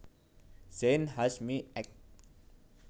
Zein Hasjmy Ec